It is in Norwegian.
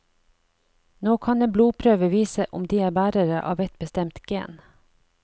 Nå kan en blodprøve vise om de er bærere av ett bestemt gen.